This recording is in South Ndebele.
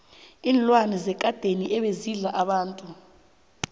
iinlwana zekadeni ebezidla abantu